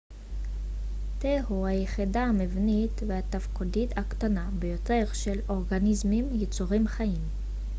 תא הוא היחידה המבנית והתפקודית הקטנה ביותר של אורגניזמים יצורים חיים